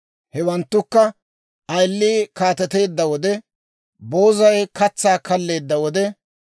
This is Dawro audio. Hewanttukka: ayilii kaateteedda wode, boozay katsaa kalleedda wode,